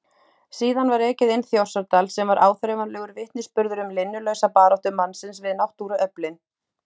Síðan var ekið inn Þjórsárdal sem var áþreifanlegur vitnisburður um linnulausa baráttu mannsins við náttúruöflin.